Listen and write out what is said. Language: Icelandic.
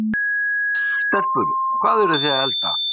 Bryndís: Stelpur, hvað eru þið að elda?